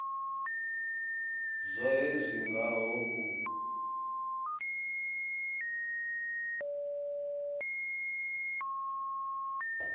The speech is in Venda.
zwohe zwi nga ho u